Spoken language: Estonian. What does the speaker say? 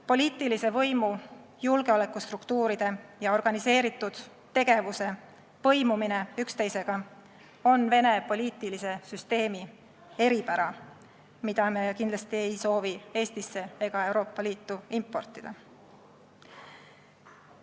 Poliitilise võimu, julgeolekustruktuuride ja organiseeritud kuritegevuse põimumine üksteisega on Vene poliitilise süsteemi eripära, mida me kindlasti ei soovi Eestisse ega Euroopa Liitu importida.